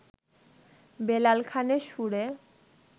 বেলাল খানের সুরে